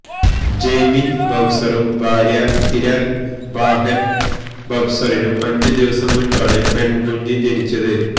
ജയ്മിന് ബവ്സറും ഭാര്യ ഹിരാല് ബാഹെന് ബവ്സറിനും അഞ്ച് ദിവസം മുന്പാണ് പെണ്കുഞ്ഞ് ജനിച്ചത്